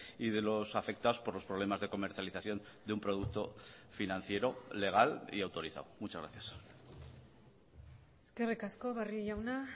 y de los afectados por los problemas de comercialización de un producto financiero legal y autorizado muchas gracias eskerrik asko barrio jauna